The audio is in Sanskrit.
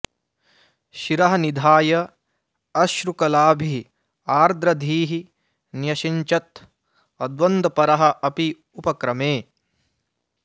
शिरः निधाय अश्रुकलाभिः आर्द्रधीः न्यषिञ्चत् अद्वन्द्वपरः अपि उपक्रमे